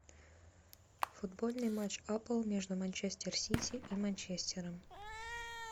футбольный матч апл между манчестер сити и манчестером